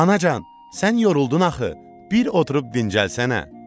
Anacan, sən yoruldun axı, bir oturub dincəlsənə.